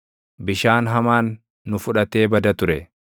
bishaan hamaan nu fudhatee bada ture.